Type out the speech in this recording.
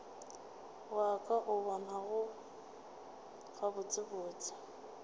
wa ka o bonago gabotsebotse